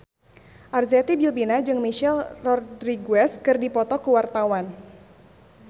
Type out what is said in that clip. Arzetti Bilbina jeung Michelle Rodriguez keur dipoto ku wartawan